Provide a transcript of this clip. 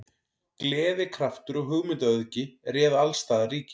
Gleði, kraftur og hugmyndaauðgi réð alls staðar ríkjum.